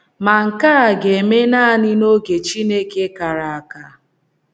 Ma nke a ga - eme nanị n’oge Chineke kara aka.